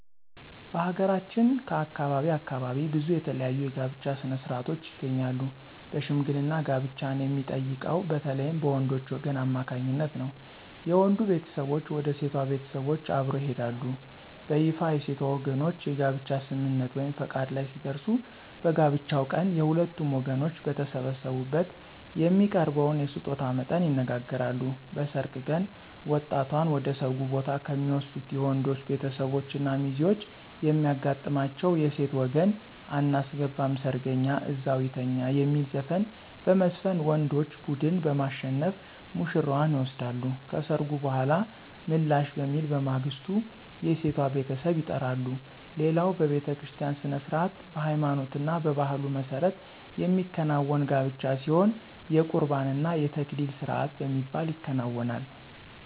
በሀገራችን ከአካባቢ አካባቢ ብዙ የተለያዩ የጋብቻ ሥነ-ሥርዓቶች ይገኛሉ በሽምግልና ጋብቻን የሚጠይቀው በተለይም በወንዶች ወገን አማካኝነት ነው። የወንዱ ቤተሰቦች ወደ ሴቷ ቤተሰቦች አብረው ይሄዳሉ። በይፋ የሴቷ ወገኖች የጋብቻ ስምምነት(ፈቃድ) ላይ ሲደርሱ በጋብቻው ቀን የሁለቱም ወገኖች በተሰበሰቡበት የሚያቀርበውን የስጦታ መጠን ይነጋገራሉ። በሰርግ ቀን ወጣቷን ወደ ሰርጉ ቦታ ከሚወስዱት የወንዶች ቤተሰቦች እና ሚዜዎች የሚያጋጥማቸው የሴት ወገን *አናስገባም ሰርገኛ እዛው ይተኛ* የሚል ዘፈን በመዝፈን ወንዶች ቡድን በማሸነፍ ውሽራዋን ይወስዳሉ። ከሰርጉ በኃላ ምላሽ በሚል በማግስቱ የሴቷ ቤተሰብ ይጠራሉ። ሌላው በቤተክርስቲያ ሥነ-ሥርዓት በሃይማኖትና በባህሉ መሠረት የሚከናወን ጋብቻ ሲሆን የቁርባን እና የተክሊል ስርአት በሚባል ይከናወናል።